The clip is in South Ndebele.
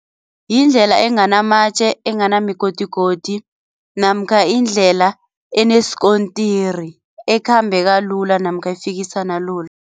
Yindlela enganamatje, enganamigodigodi namkha indlela eneskontiri ekhambeka lula namkha efikisana lula.